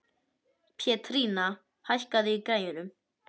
Pétrína, hækkaðu í græjunum.